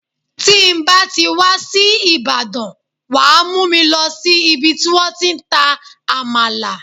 Tí ń bá ti wá sí Ìbàdàn, wàá mú mi lọ sí ibi tí wọ́n ti ń ta Àmàlà.